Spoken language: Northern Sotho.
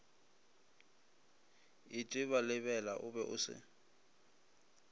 itebalebela o be o se